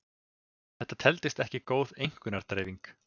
Þetta teldist ekki góð einkunnadreifing.